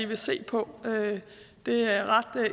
vil se på det ret